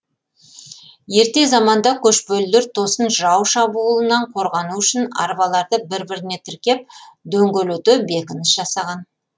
ерте заманда көшпелілер тосын жау шабуылынан қорғану үшін арбаларды бір біріне тіркеп дөңгелете бекініс жасаған